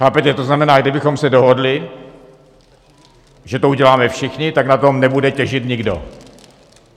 Chápete, to znamená: kdybychom se dohodli, že to uděláme všichni, tak na tom nebude těžit nikdo.